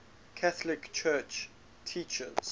catholic church teaches